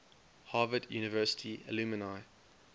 harvard university alumni